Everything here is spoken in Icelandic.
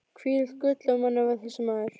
Hvílíkt gull af manni var þessi maður!